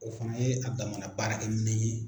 O fana ye a damana baarakɛmɛn ye.